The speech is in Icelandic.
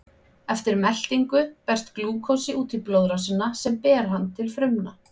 Eftir meltingu berst glúkósi út í blóðrásina sem ber hann til frumna.